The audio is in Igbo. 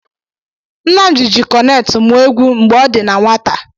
Nnamdi ji kọnet mụọ egwu mgbe ọ dị na nwata.